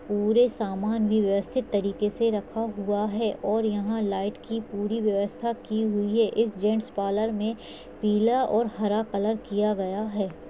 पूरे समान व्यवस्थित तरीके से रखा हुआ है और यहाँ लाइट की पूरी व्यवस्था की हुई है इस जेन्ट्स पार्लर में पीला और हरा कलर किया गया है।